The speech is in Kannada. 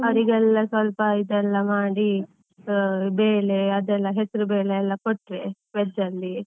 ಅವ್ರಿಗೆಲ್ಲಾ ಸ್ವಲ್ಪ ಇದೆಲ್ಲಾ ಮಾಡಿ, ಬೇಳೆ ಅದೆಲ್ಲ ಹೆಸರು ಬೇಳೆ ಎಲ್ಲ ಕೊಟ್ರೆ veg ಅಲ್ಲಿ.